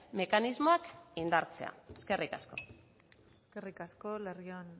mekanismoak indartzea eskerrik asko eskerrik asko larrion